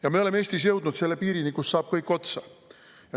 Ja me oleme Eestis jõudnud selle piirini, kus kõik saab otsa.